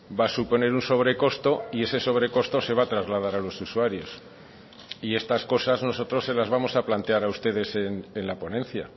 va a suponer un sobrecosto y ese sobrecosto se va a trasladar a los usuarios y estas cosas nosotros se las vamos a plantear a ustedes en la ponencia